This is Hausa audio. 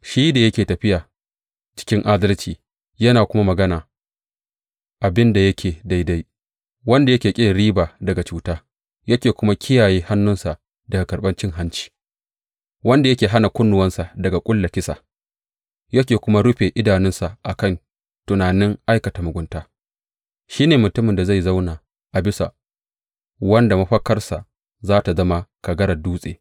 Shi da yake tafiya cikin adalci yana kuma magana abin da yake daidai, wanda yake ƙin riba daga cuta yana kuma kiyaye hannunsa daga karɓan cin hanci, wanda yake hana kunnuwansa daga ƙulla kisa ya kuma rufe idanunsa a kan tunanin aikata mugunta, shi ne mutumin da zai zauna a bisa, wanda mafakarsa za tă zama kagarar dutse.